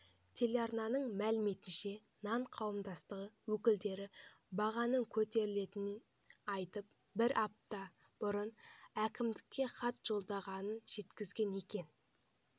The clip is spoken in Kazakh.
телеарнаның мәліметінше нан қауымдастығы өкілдері бағаның көтерілетінін айтып бір апта бұрын әкімдіккке хат жолдағандарын жеткізген екен